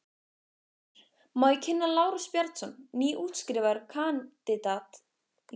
GRÍMUR: Má ég kynna: Lárus Bjarnason, nýútskrifaður kandidat í lögum.